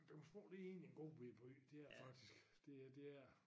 Du kan tro det egentlig en god bette by det er det fktisk det er det er det